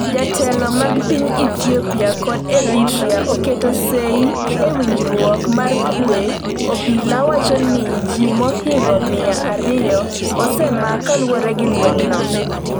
Jotelo mag piny Ethiopia kod Eritrea oketo sei e winjruok mar kwe Obila wacho ni ji mohingo miya ariyo osemak kaluwore gi lweny no.